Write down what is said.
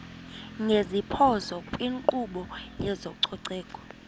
ngeziphoso kwinkqubo yezococeko